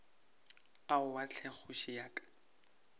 aowa hle kgoši ya ka